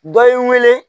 Dɔ ye n wele